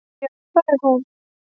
Já, það er hún.